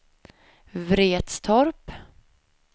Vretstorp